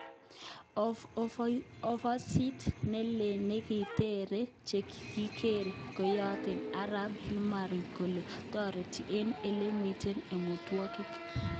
Ofosit neleel nekiteren chekikiger keyote Arap Hailmarian kole toreti eng elemiten emotunwek.